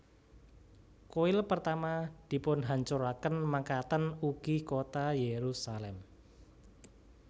Kuil Pertama dipunhancuraken mekaten ugi kota Yerusalem